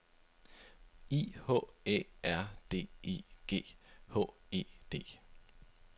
I H Æ R D I G H E D